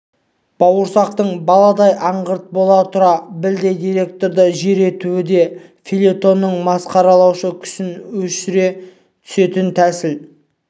бауырсақтың баладай аңғырт бола тұра білдей директорды жер етуі де фельетонның масқаралаушы күшін өсіре түсетін тәсіл